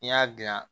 N'i y'a dilan